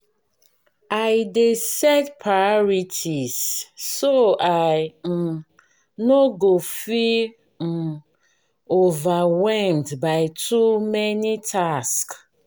i dey set priorities so i um no go feel um overwhelmed by too many tasks.